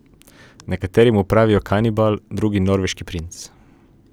Nekateri mu pravijo kanibal, drugi norveški princ.